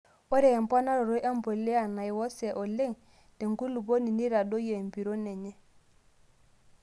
Ore emponaroto empuliya naiwosee oleng' tenkulupuoni neitadoyio empiron enye.